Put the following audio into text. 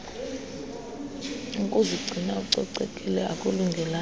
ukuzigcina ucocekile akulungelanga